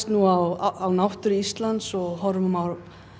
á náttúru Íslands og horfum á